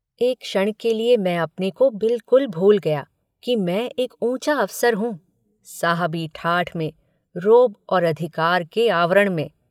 एक क्षण के लिए मैं अपने को बिल्कुल भूल गया कि मैं एक ऊँचा अफसर हूँ साहबी ठाठ में रोब और अधिकार के आवरण में।